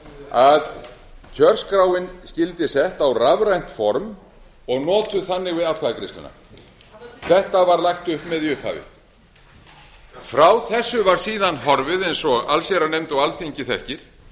að kjörskráin skyldi sett á rafrænt form og notuð þannig við atkvæðagreiðsluna þetta var hægt upp með í upphafi frá þessu var síðan horfið eins og allsherjarnefnd og alþingi þekkir